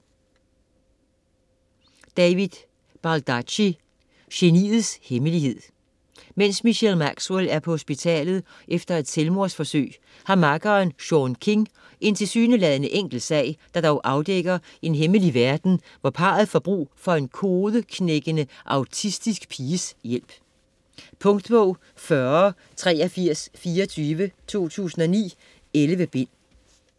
Baldacci, David: Geniets hemmelighed Mens Michelle Maxwell er på hospitalet efter et selvmordsforsøg har makkeren, Sean King, en tilsyneladende enkel sag, der dog afdækker en hemmelig verden og hvor parret får brug for en kodeknækkende autistisk piges hjælp. Punktbog 408324 2009. 11 bind.